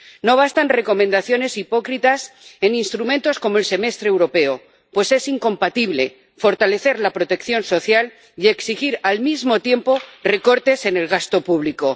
No bastan recomendaciones hipócritas en instrumentos como el Semestre Europeo, pues es incompatible fortalecer la protección social y exigir, al mismo tiempo, recortes en el gasto público.